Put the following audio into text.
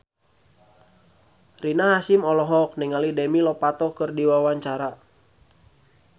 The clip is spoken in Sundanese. Rina Hasyim olohok ningali Demi Lovato keur diwawancara